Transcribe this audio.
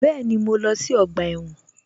Bẹ́ẹ̀ni, mo lọ sí ọgbà ẹ̀wọ̀n